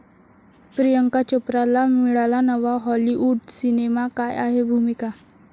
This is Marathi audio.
प्रियांका चोप्राला मिळाला नवा हाॅलिवूड सिनेमा, काय आहे भूमिका?